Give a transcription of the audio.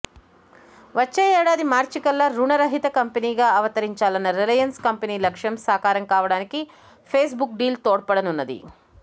వచ్చే ఏడాది మార్చికల్లా రుణ రహిత కంపెనీగా అవతరించాలన్న రిలయన్స్ కంపెనీ లక్ష్యం సాకారం కావడానికి ఫేస్బుక్ డీల్ తోడ్పడనున్నది